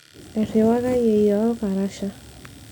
erriwaka yieyio olkarasha